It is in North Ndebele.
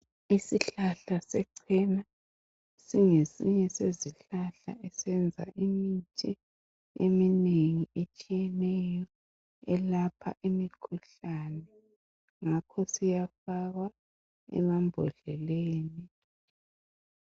Isihlahla sechena singesinye sezihlahla esenza imithi eminengi etshiyeneyo elapha imikhuhlane, ngakho siyafakwa emambodleleni.